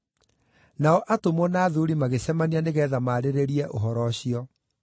Nao atũmwo na athuuri magĩcemania nĩgeetha maarĩrĩrie ũhoro ũcio.